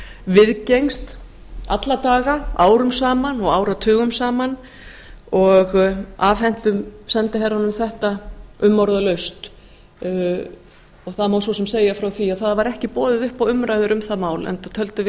viðgengst alla daga árum saman og áratugum saman og afhentum sendiherranum þetta umorðalaust það má svo sem segja frá því að það var ekki boðið upp á umræður um það mál enda töldum við